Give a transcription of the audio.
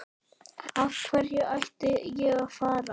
Af hverju ætti ég að fara?